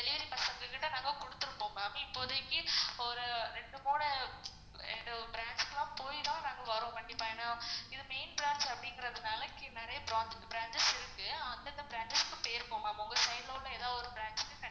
delivery பசங்ககிட்ட நாங்க குடுதுருப்போம் ma'am இப்போதிக்கு ஒரு ரெண்டு போய்தான் நாங்க வரோம் கண்டிப்பா ஏன்னா இது main branch அப்படிங்குறதுனால இங்க நெறைய branches இருக்கு அந்தந்த branches க்கு போயிரும். உங்க side ல உள்ள ஏதோ ஒரு branch